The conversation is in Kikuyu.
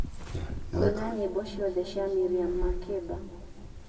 kũina nyĩmbo ciothe cia Miriam Makeba